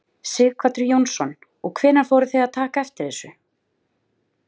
Sighvatur Jónsson: Og hvenær fóruð þið að taka eftir þessu?